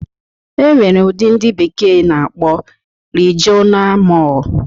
E nwere ụdị ndị bekee na-akpọ Rijiona Mọl.